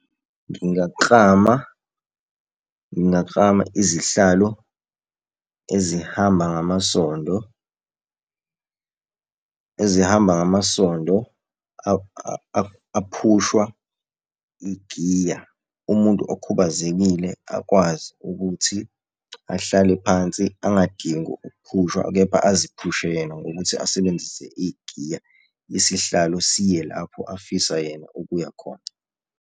Ngingaklama, ngingaklama izihlalo ezihamba ngamasondo, ezihamba ngamasondo aphushwa igiya, umuntu okhubazekile akwazi ukuthi ahlale phansi angadingi ukuphushwa kepha aziphushe yena ngokuthi asebenzise igiya, isihlalo siye lapho afisa yena ukuya khona.